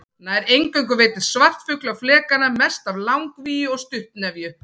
Nær eingöngu veiddist svartfugl á flekana, mest af langvíu og stuttnefju.